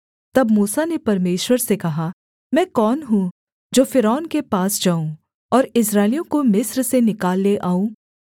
तब मूसा ने परमेश्वर से कहा मैं कौन हूँ जो फ़िरौन के पास जाऊँ और इस्राएलियों को मिस्र से निकाल ले आऊँ